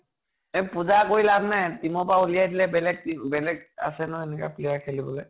এ পুজা কৰি লাভ নাই । team পৰা ওলিয়াই দিলে বেলেগ বেলেগ আছে নহয় সেনেকে player খেলিবলৈ